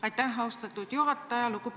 Aitäh, austatud juhataja!